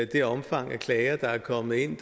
det omfang af klager der er kommet ind